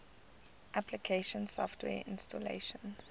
application software installation